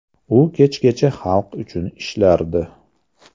U kechgacha xalq uchun ishlardi.